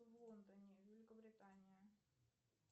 в лондоне великобритания